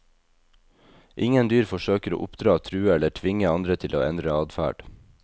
Ingen dyr forsøker å oppdra, true eller tvinge andre til å endre adferd.